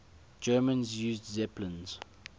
germans used zeppelins